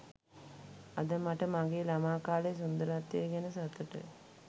අද මට මගේ ළමා කාලයේ සුන්දරත්වය ගැන සතුටුයි